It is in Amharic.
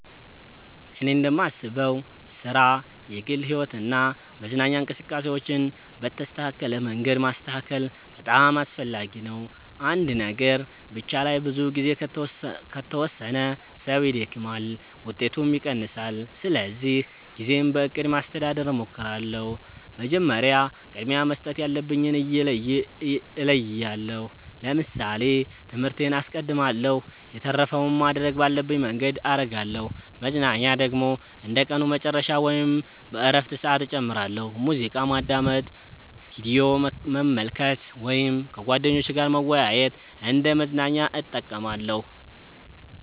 እኔ እንደማስበው ሥራ፣ የግል ሕይወት እና መዝናኛ እንቅስቃሴዎችን በተስተካከለ መንገድ ማስተካከል በጣም አስፈላጊ ነው። አንድ ነገር ብቻ ላይ ብዙ ጊዜ ከተወሰነ ሰው ይደክማል፣ ውጤቱም ይቀንሳል። ስለዚህ ጊዜን በእቅድ ማስተዳደር እሞክራለሁ። መጀመሪያ ቅድሚያ መስጠት ያለብኝን እለያለሁ ለምሳሌ ትምህርቴን አስቀድማለሁ የተረፈውን ማድረግ ባለብኝ መንገድ አረጋለሁ መዝናኛ ደግሞ እንደ ቀኑ መጨረሻ ወይም በእረፍት ሰዓት እጨምራለሁ። ሙዚቃ ማዳመጥ፣ ቪዲዮ መመልከት ወይም ከጓደኞች ጋር መወያየት እንደ መዝናኛ እጠቀማለሁ።